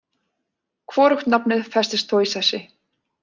Hvorugt nafnið festist þó í sessi.